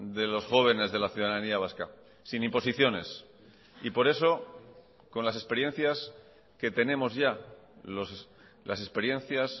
de los jóvenes de la ciudadanía vasca sin imposiciones y por eso con las experiencias que tenemos ya las experiencias